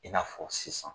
I n'a fɔ sisan